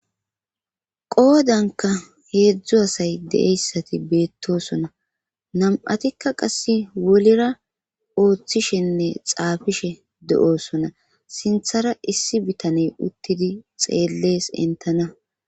qoodanka heedzdzu asay deeyssati beettosona nam7atikka qasse wolira ooththishenne xaafishe de7oosona sinthara issi bitaney uttidi xeellees entana